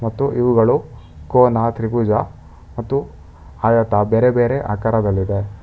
ಮತ್ತು ಇವುಗಳು ಕೋನ ತ್ರಿಭುಜ ಮತ್ತು ಹಾಯತ ಬೇರೆ ಬೇರೆ ಆಕರದಲ್ಲಿದೆ.